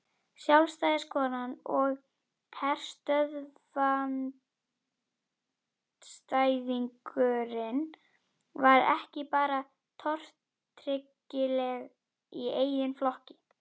Sjálfstæðiskonan og herstöðvaandstæðingurinn var ekki bara tortryggileg í eigin flokki.